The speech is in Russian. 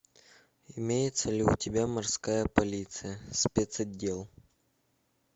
имеется ли у тебя морская полиция спецотдел